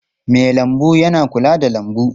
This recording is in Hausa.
Mai lambu yana kula da lambu.